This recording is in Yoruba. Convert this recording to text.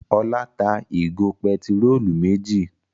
Ọlá tá ìgò pẹtírólù méjì.